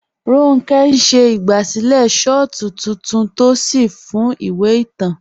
Ronkẹ̀ n ṣẹ̀ igbásílẹ̀ shọ̀tù titúntò sí fún ìwé ìtàn.